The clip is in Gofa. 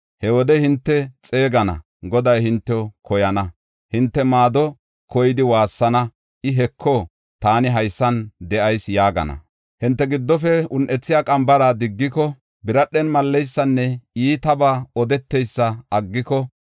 He wode hinte xeegana; Goday hintew koyana. Hinte maado koyidi waassana; I, ‘Heko, taani haysan de7ayis!’ yaagana. “Hinte giddofe un7ethiya qambara diggiko, biradhen malleysanne iitaba odeteysa aggiko,